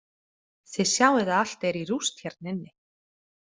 Þið sjáið að allt er í rúst hérna inni.